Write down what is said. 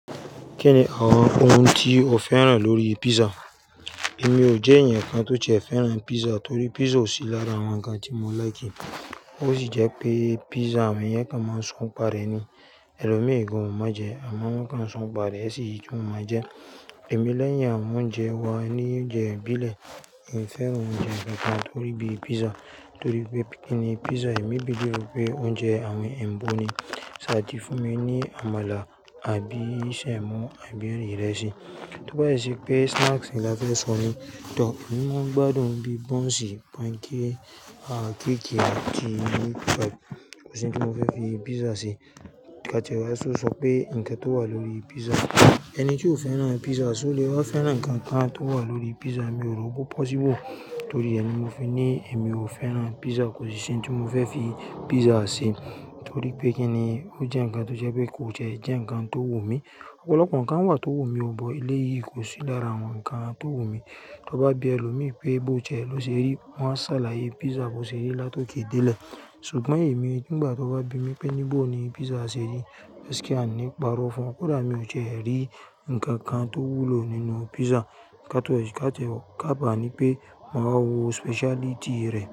Kí ni àwọn ohun tí o fẹ́ràn lórí pizza? Èmi ò jẹ́ ẹnìkan tó ti é fẹ́ràn pizza torí pizza ò sí lára àwọn ǹkan tí mo ń láìkì. Ó sì jẹ́ pé pizza awon yẹ kan máa sọ n pare ni. Ẹlòmíì gan, májè, àmọ́ wọ́n kàn sun pare, èsì ìju máa jẹ. Èmi lẹ́yìn àwọn oúnjẹ wà ní oúnjẹ ìbílẹ̀. Èmi ò fẹ́ràn oúnjẹ kankan torí bí pizza torí pé kíni pizza èmi believe pé oúnjẹ àwọn ẹyinbo ni. Ṣaàtì fún mi ní àmàlà àbí ṣẹ́mọ àbí rẹ́ ìrẹsì. Tó bá yí sí pé snacks ni láfe sọ ní, tọ̀, èmí mo ń gbádùn bí bunsì, panké, à kekì àti pizza kosi ntí mo fẹ́ fi pizza ṣe. Nígbà tẹ̀wá ṣọ̀ sọ pé ǹkan tó wà lórí pizza, ẹni tí ó fẹ́ràn pizza, ṣé o lè wáa fẹ́ràn ǹkan kan tó wà lórí pizza, mi ò rò pó possible torí ẹ ni mo fi ní èmi ò fẹ́ràn pizza kosi ni tí mo fẹ́ fi pizza ṣe torí pé kíni ó jẹ́ ǹkan tó jẹ́ pé kó jẹ́ ẹ̀ jẹ́ ǹkan tó wù mí. Ọ̀pọ̀lọpọ̀ ǹkan wà tó wù mí ọ but, eléyìí kò sí lára àwọn ǹkan tó wù mí. Tó bá bí ẹlòmíì pé bó ti jẹ́ ló ṣe rí, wọn á ṣàlàyé pizza bó ṣe rí láti ó ké dé lè. Ṣùgbọ́n èmi nígbà tó bá bími pé ní bo ni pizza ṣe rí, gaskía i ní ìparọ̀fùn o. Kódà mi ò ti rí ǹkan kan tó wúlò nínú pizza. Ìká tẹ̀wá, ìká tẹ̀wá ká bá ní pé màá wo speciality rẹ̀.